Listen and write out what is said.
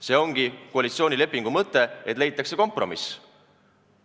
See ongi koalitsioonilepingu mõte, et leitakse kompromiss.